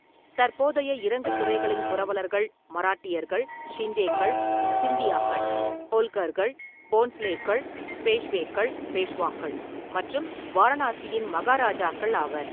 தற்போதைய இறங்கு துறைகளின் புரவலர்கள் மராட்டியர்கள், ஷிண்டேக்கள் (சிந்தியாக்கள்), ஹோல்கர்கள், போன்ஸ்லேக்கள், பேஷ்வேக்கள் (பேஷ்வாக்கள்) மற்றும் வாரணாசியின் மகாராஜாக்கள் ஆவர்.